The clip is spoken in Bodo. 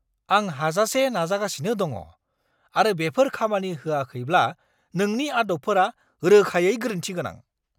आं हाजासे नाजागासिनो दङ, आरो बेफोर खामानि होआखैब्ला नोंनि आदबफोरा रोखायै गोरोन्थि गोनां।